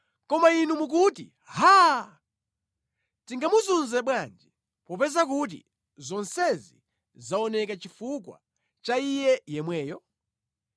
“Koma inu mukuti, ‘Haa! Tingamuzunze bwanji, popeza kuti zonsezi zaoneka chifukwa cha iye yemweyo?’